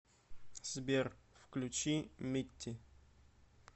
сбер включи митти